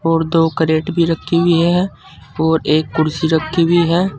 और दो करेट भी रखी हुई है और एक कुर्सी रखी हुई है।